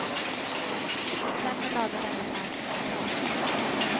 I september lade denne fram sitt förslag.